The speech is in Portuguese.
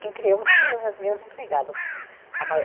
Quem criou foram as minhas empregadas. A